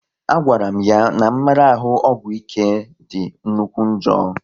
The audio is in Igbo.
A gwara m ya n'mmarahu ọgwụ ike dị nnukwu njọ